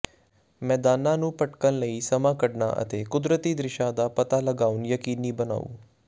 ਮੈਦਾਨਾਂ ਨੂੰ ਭਟਕਣ ਲਈ ਸਮਾਂ ਕੱਢਣਾ ਅਤੇ ਕੁਦਰਤੀ ਦ੍ਰਿਸ਼ਾਂ ਦਾ ਪਤਾ ਲਗਾਉਣਾ ਯਕੀਨੀ ਬਣਾਓ